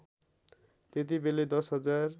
त्यतिबेलै १० हजार